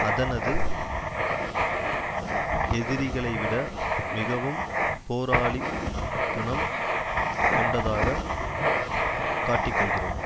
அதனது எதிரிகளைவிட மிகவும் போராளி குணம் கொண்டதாக காட்டிக்கொள்கிறது